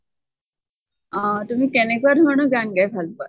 অʼ । তুমি কেনেকুৱা ধৰণৰ গান গাই ভাল পোৱা ?